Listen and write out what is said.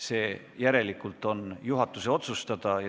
See on järelikult juhatuse otsustada.